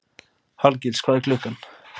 Hallgils, hvað er klukkan?